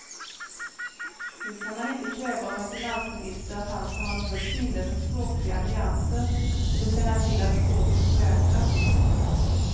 Nu kan man inte kräva av en finansminister att han ska ha något sinne för språkliga nyanser eller känna till att språket förändrats.